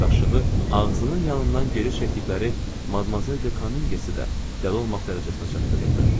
Qaşığı ağzının yanından geri çəkdikləri Madmazel de Kamingsi də dəli olmaq dərəcəsinə çatdırırdı.